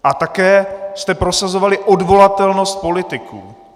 A také jste prosazovali odvolatelnost politiků.